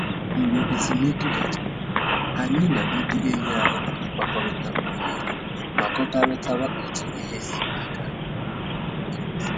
Mgbe ezumike gachara, anyị na ndị enyi anyị na-akpakọrịta mgbe niile ma kọkarịtara otu ihe si gaa